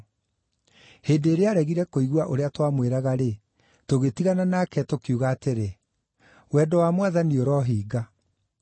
Hĩndĩ ĩrĩa aaregire kũigua ũrĩa twamwĩraga-rĩ, tũgĩtigana nake tũkiuga atĩrĩ, “Wendo wa Mwathani ũrohinga.”